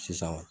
Sisan kɔni